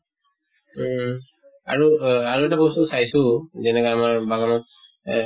উম আৰু অহ আৰু এটা বস্তু চাইছো যেনেকা আমাৰ বাগানত এহ